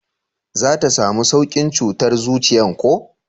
za ta samu saukin cutar zuciyan ko?